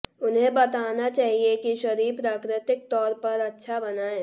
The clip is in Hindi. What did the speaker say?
उन्हें बताना चाहिए कि शरीर प्राकृतिक तौर पर अच्छा बनाएं